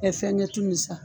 fɛngɛ tu nin sa